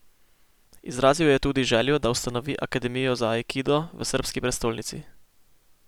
Izrazil je tudi željo, da ustanovi akademijo za aikido v srbski prestolnici.